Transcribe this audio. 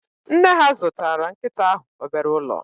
Nne ha zụtara nkịta ahụ obere ụlọ